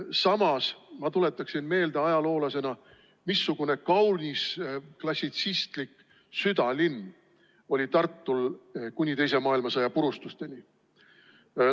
Samas, ma tuletaksin ajaloolasena meelde, missugune kaunis klassitsistlik südalinn oli Tartul kuni teise maailmasõja purustusteni.